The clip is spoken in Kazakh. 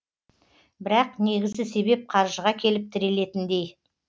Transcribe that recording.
бірақ негізгі себеп қаржыға келіп тірелетіндей